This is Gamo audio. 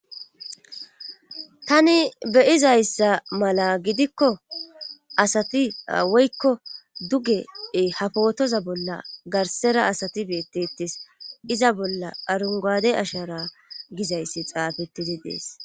Tani beyizayssa malla gidikko asati woykko duge ha bootaza bolla garsera asati beetettees iza bolla arungaade ashara gizayssi xaafettidi dees